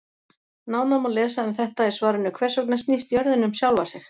Nánar má lesa um þetta í svarinu Hvers vegna snýst jörðin um sjálfa sig?